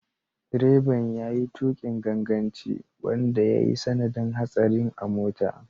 Direban ya yi tukin ganganci wanda ya yi sanadin hatsarin a mota.